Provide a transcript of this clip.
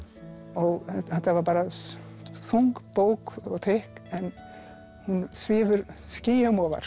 og þetta var bara þung bók og þykk en hún svífur skýjum ofar